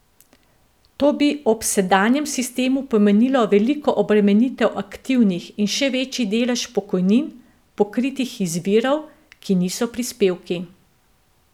To bi ob sedanjem sistemu pomenilo veliko obremenitev aktivnih in še večji delež pokojnin, pokritih iz virov, ki niso prispevki.